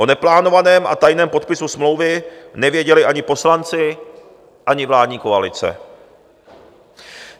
O neplánovaném a tajném podpisu smlouvy nevěděli ani poslanci, ani vládní koalice.